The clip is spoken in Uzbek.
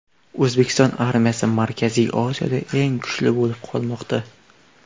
O‘zbekiston armiyasi Markaziy Osiyoda eng kuchli bo‘lib qolmoqda .